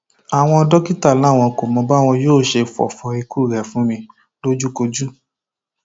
àwọn dókítà làwọn kò mọ báwọn yóò ṣe fọfọ ikú rẹ fún mi lójúkojú